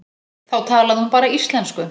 Þá talaði hún bara íslensku.